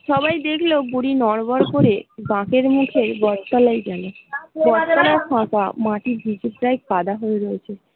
সবাই দেখল বুড়ি নড়বর করে বাঁকের মধ্যে বট তলায় গেল বট তলাও ফাঁকা মাটির টা কাদা হয়ে রয়েছে।